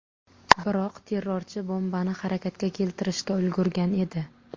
Biroq terrorchi bombani harakatga keltirishga ulgurgan edi.